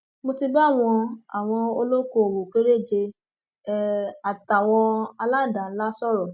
mo ti bá àwọn àwọn olókoòwò kéréje um àtàwọn aládàáńlá sọrọ